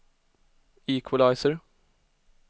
equalizer